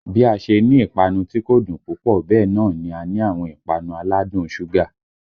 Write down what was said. Bí a ṣe ní ìpanu tí kò dùn púpọ̀ bẹ́ẹ̀ náà ni a ní àwọn ìpanu aládùn un ṣúgà